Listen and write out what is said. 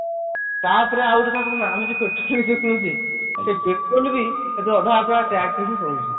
ତ ପରେ ଆଉ ଗୋଟେ କଥା କଣ ଆମେ ଯୋଉ petrol କିଣୁଛେ ସେଇ petrol ବି ଅଧା ଅଧା tax ରେ ହିଁ ପଳଉଛି